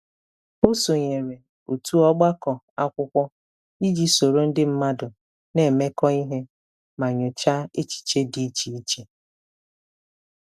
Ọ sonyeere otu ọgbakọ akwụkwọ iji soro ndi mmadụ na-emekọ ihe ma nyochaa echiche dị iche iche.